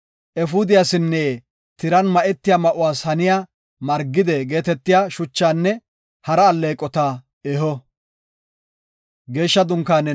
efuudiyasinne tiran ma7etiya ma7uwas haniya margide geetetiya shuchaanne hara alleeqota eho.